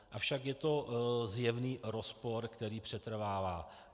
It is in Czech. Avšak je to zjevný rozpor, který přetrvává.